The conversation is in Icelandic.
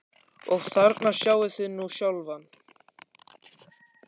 Og þarna sjáið þið nú sjálfan